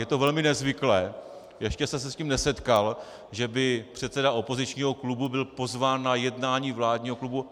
Je to velmi nezvyklé, ještě jsem se s tím nesetkal, že by předseda opozičního klubu byl pozván na jednání vládního klubu.